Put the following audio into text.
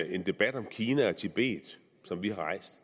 en debat om kina og tibet som vi har rejst